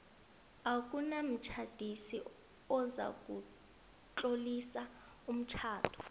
akunamtjhadisi ozakutlolisa umtjhado